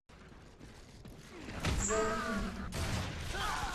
зарине